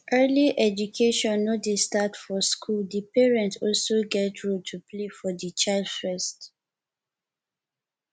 early education no dey start for school di parents also get role to play for di child first